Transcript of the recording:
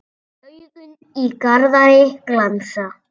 Augun í Garðari glansa.